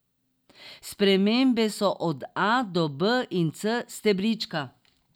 Spremembe so od A, do B in C stebrička.